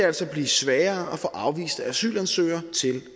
altså blive sværere at få afviste asylansøgere til